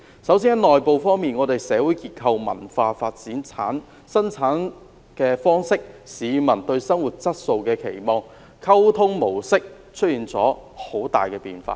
首先在內部方面，本港的社會結構、文化發展、生產方式、市民對生活質素的期望、溝通模式均出現了很大變化。